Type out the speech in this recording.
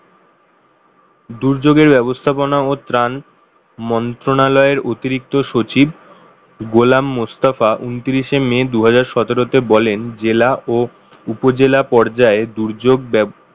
দুর্যোগের ব্যবস্থাপনা ও ত্রাণ মন্ত্রণালয়ের অতিরিক্ত সচিব গোলাম মোস্তফা উনত্রিশে মে দু হাজার সতেরো তে বলেন জেলা ও উপজেলা পর্যায়ে দুর্যোগ ব্যবস্থা